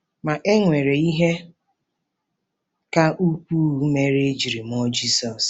Ma, e nwere ihe ka ukwuu mere e ji mụọ Jizọs.